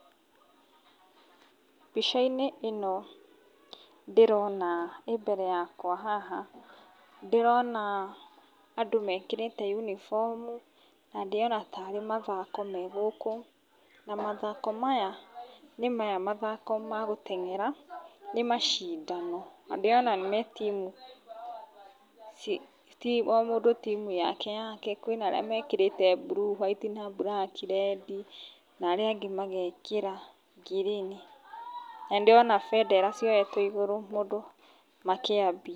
mbica-inĩ ĩno ndĩrona, ĩ mbere yakwa haha, ndĩrona andũ mekĩrĩte yunibomu, na ndĩrona tarĩ mathako me gũkũ, na mathako maya, nĩmaya mathako ma gũteng'era, nĩ macindano, na ndĩrona me timu, ci, o mundũ timu yake yake, kwĩna arĩa mekĩrĩte blue , white na mburaki, rendi, na arĩa angĩ magekĩra ngirini, na nĩndĩrona bendera cioetwo igũrũ, mũndũ makĩambia.